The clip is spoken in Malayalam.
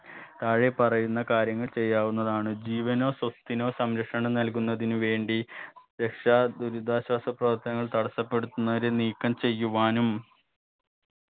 താഴെ പറയുന്ന കാര്യങ്ങൾ ചെയ്യാവുന്നതാണ് ജീവനോ സ്വത്തിനോ സംരക്ഷണം നൽകുന്നതിന് വേണ്ടി രക്ഷാ ദുരിതാശ്വാസ പ്രവർത്തനങ്ങൾ തടസ്സപ്പെടുത്തുന്നവരെ നീക്കം ചെയ്യുവാനും